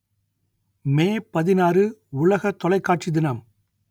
மே பதினாறு உலக தொலைக்காட்சி தினம்